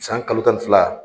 San kalo tan ni fila.